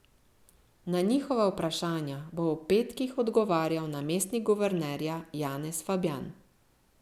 Na njihova vprašanja bo ob petkih odgovarjal namestnik guvernerja Janez Fabjan.